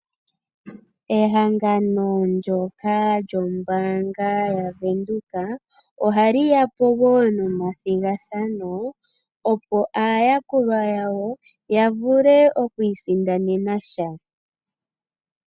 Ehangano ndyoka lyombaanga yavenduka, ohaliyapo wo nomathigathano, opo aayakulwa yawo yavule okwii sindanena sha.